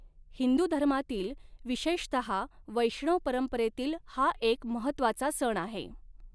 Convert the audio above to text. हिंदू धर्मातील, विशेषतः वैष्णव परंपरेतील हा एक महत्त्वाचा सण आहे.